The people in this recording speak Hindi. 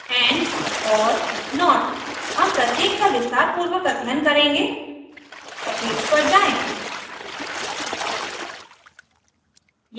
and or not हम प्रत्येक का विस्तारपूर्वक अध्ययन करेंगे eclipse पर जाएँ